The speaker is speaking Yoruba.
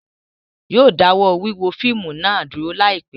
Yóò dáwọ́ wíwo fíìmù náà dúró láìpẹ́